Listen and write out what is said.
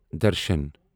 درشن